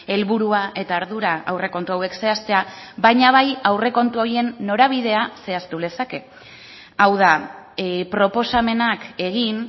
helburua eta ardura aurrekontu hauek zehaztea baina bai aurrekontu horien norabidea zehaztu lezake hau da proposamenak egin